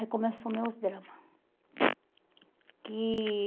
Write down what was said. começou meus drama. Que